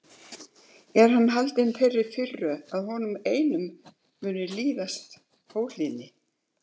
Er hann haldinn þeirri firru að honum einum muni líðast óhlýðni?